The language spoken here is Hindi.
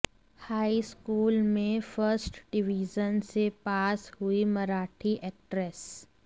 हाईस्कूल में फर्स्ट डिवीज़न से पास हुई मराठी एक्ट्रेस